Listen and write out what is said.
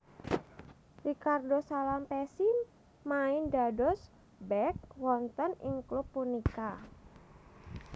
Ricardo Salampessy main dados bek wonten ing klub punika